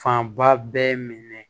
Fanba bɛɛ minɛ